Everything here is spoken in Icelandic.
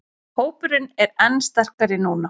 Hópurinn er enn sterkari núna